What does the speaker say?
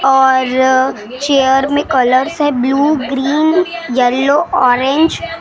और चेयर में कलर्स है ब्लू ग्रीन येलो ऑरेंज ।